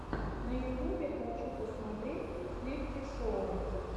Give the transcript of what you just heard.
на ютубе хочу посмотреть сливки шоу